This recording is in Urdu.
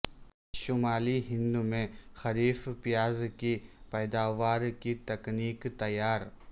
شمالی ہندمیں خریف پیاز کی پیداوار کی تکنیک تیار